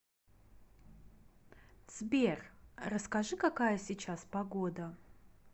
сбер расскажи какая сейчас погода